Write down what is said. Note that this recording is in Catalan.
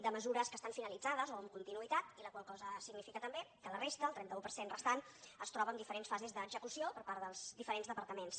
de mesures que estan finalitzades o amb continuïtat i la qual cosa significa també que la resta el trenta un per cent restant es troba en diferents fases d’execució per part dels diferents departaments